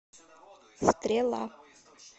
стрела